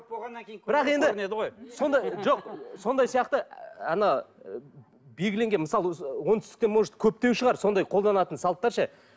бірақ енді жоқ сондай сияқты ыыы ана белгіленген мысалы оңтүстікте может көптеу шығар сондай қолданатын салттар ше